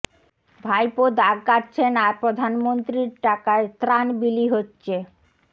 ভাইপো দাগ কাটছেন আর প্রধানমন্ত্রীর টাকায় ত্রাণ বিলি হচ্ছে